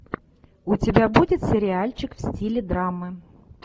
у тебя будет сериальчик в стиле драмы